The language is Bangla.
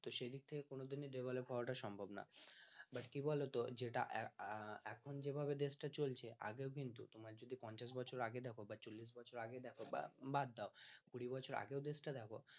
তো সেদিক থেকে কোনোদিনই devlpoe হওয়াটা সম্ভব না but কি বলতো যেটা এখন যেভাবে দেশ টা চলছে আগে কিন্তু তোমার যদি পঞ্চাশ বছর আগে দেখো বা চল্লিশ বছর আগে দেখ বা বাদ দাও কুড়ি বছর আগে দেশটাও দেখ